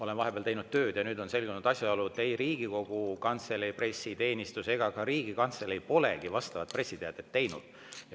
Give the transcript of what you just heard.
Olen vahepeal teinud tööd ja nüüd on selgunud asjaolu, et ei Riigikogu Kantselei pressiteenistus ega ka Riigikantselei pole vastavat pressiteadet teinud.